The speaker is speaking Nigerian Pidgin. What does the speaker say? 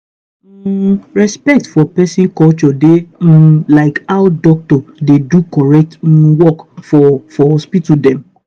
hmmm respect for peson culture dey um like how doc dey do correct um work for for hospital dem.